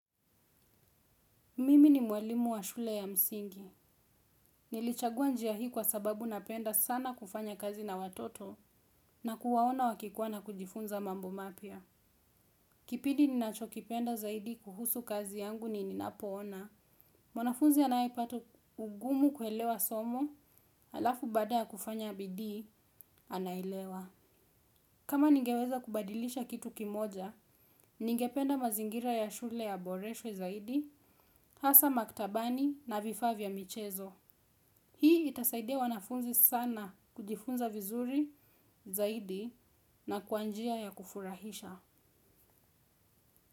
Mimi ni mwalimu wa shule ya msingi. Nilichagua njia hii kwa sababu napenda sana kufanya kazi na watoto na kuwaona wakikuwa na kujifunza mambo mapya. Kipidi ninacho kipenda zaidi kuhusu kazi yangu ni ninapoona. Mwanafunzi anaye pata ugumu kuelewa somo, halafu baada ya kufanya bidii, anaelewa. Kama ningeweza kubadilisha kitu kimoja, ningependa mazingira ya shule yaboreshwe zaidi, hasa maktabani na vifaa vya michezo. Hii itasaidia wanafunzi sana kujifunza vizuri zaidi na kwa njia ya kufurahisha.